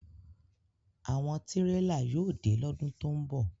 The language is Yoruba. Awọn tirela yóò de lọ́dùn to ńbọ